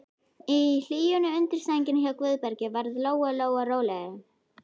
Í hlýjunni undir sænginni hjá Guðbergi varð Lóa-Lóa rólegri.